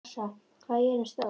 Alexstrasa, hvað er jörðin stór?